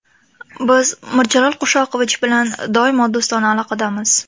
Biz Mirjalol Qo‘shoqovich bilan doimo do‘stona aloqadamiz.